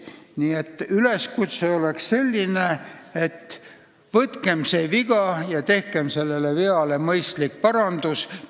Nii et üleskutse on selline: võtkem see viga ja tehkem selle vea mõistlik parandus!